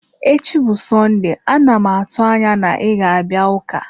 Echi bụ Sọnde, a na m atụ anya na ị ga-abịa ụka.